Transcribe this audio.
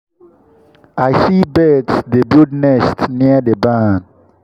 i see birds dey build nests near the barn.